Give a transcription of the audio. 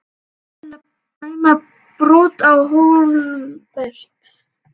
Var dómarinn að dæma brot Á Hólmbert?